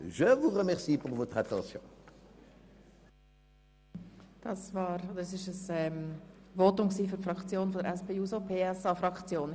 Das war doch noch ein Fraktionsvotum, nämlich für die SP-JUSO-PSA-Fraktion.